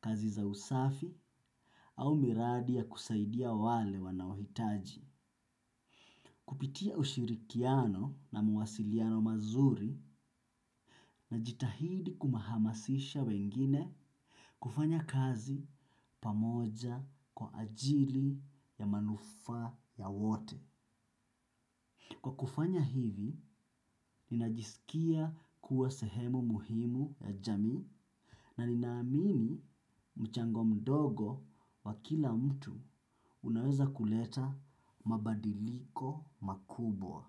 kazi za usafi au miradi ya kusaidia wale wanaohitaji. Kupitia ushirikiano na muwasiliano mazuri na jitahidi kumahamasisha wengine kufanya kazi pamoja kwa ajili ya manufaa ya wote. Kwa kufanya hivi, ninajisikia kuwa sehemu muhimu ya jamii na ninaamini mchango mdogo wa kila mtu unaweza kuleta mabadiliko makubwa.